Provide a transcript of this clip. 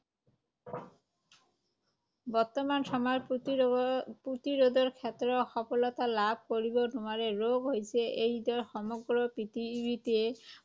বৰ্তমান সময়ত প্ৰতিৰোধ, প্ৰতিৰোধৰ ক্ষেত্ৰত সফলতা লাভ কৰিব নোৱাৰে ৰোগ হৈছে এইড্ছে সমগ্ৰ পৃথিৱীতে